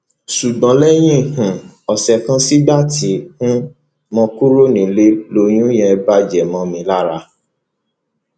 ṣùgbọ́n lẹ́yìn um ọ̀sẹ̀ kan sígbà tí um mo kúrò nílé lóyún yẹn bàjẹ́ mọ́ mi lára